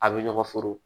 A' bɛ ɲɔgɔn foro